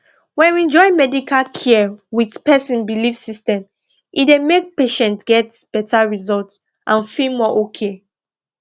when we join medical care with person belief system e dey make patients get better result and feel more okay